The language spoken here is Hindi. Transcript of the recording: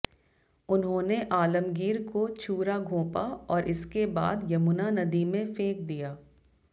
उन्होंने आलमगीर को छूरा घोंपा और इसके बाद यमुना नदी में फेंक दिया